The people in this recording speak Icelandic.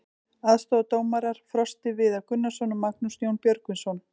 Aðstoðardómarar: Frosti Viðar Gunnarsson og Magnús Jón Björgvinsson.